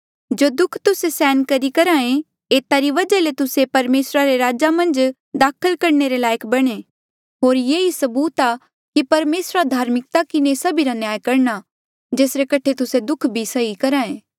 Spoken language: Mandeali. जो दुःख तुस्से सहन करी करहे एता री वजहा ले तुस्से परमेसरा रे राज मन्झ दाखल करणे लायक बणे होर ये ही सबूत आ कि परमेसरा धार्मिकता किन्हें सभीरा न्याय करणा जेसरे कठे तुस्से दुःख भी सही करहे